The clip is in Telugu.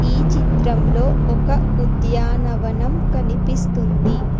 ఈ చిత్రంలో ఒక ఉద్యానవనం కనిపిస్తుంది.